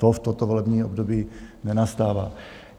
To v tomto volebním období nenastává.